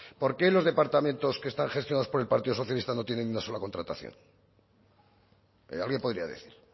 por qué los departamentos que están gestionados por el partido socialista no tienen ni una sola contratación alguien podría decir